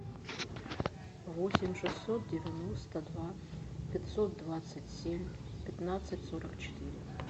восемь шестьсот девяносто два пятьсот двадцать семь пятнадцать сорок четыре